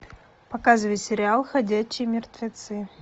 показывай сериал ходячие мертвецы